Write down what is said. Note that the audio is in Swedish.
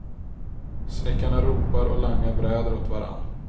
Snickarna ropar och langar bräder åt varann.